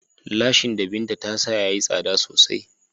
Lashin da Binta ta sa ya yi tsada sosai.